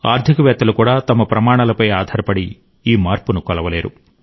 ఆర్థికవేత్తలు కూడా తమ ప్రమాణాలపై ఆధారపడి ఈ మార్పును కొలవలేరు